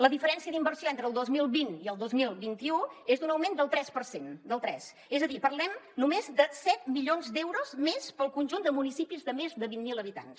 la diferència d’inversió entre el dos mil vint i el dos mil vint u és un augment del tres per cent del tres és a dir parlem només de set milions d’euros més pel conjunt de municipis de més de vint mil habitants